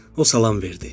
O salam verdi.